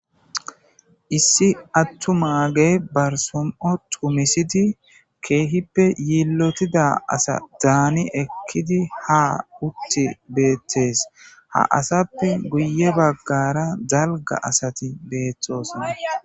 issi attu maage barsom7o tumisidi keehippe yiillotida asa daani ekkidi ha utti beettes ha asappe guye baggara zalga asati beethtosonna